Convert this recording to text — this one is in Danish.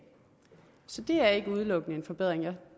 så det er ikke udelukkende en forbedring jeg